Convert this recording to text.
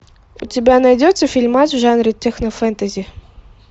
у тебя найдется фильмас в жанре технофентази